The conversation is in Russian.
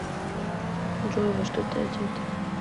джой во что ты одета